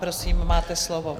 Prosím, máte slovo.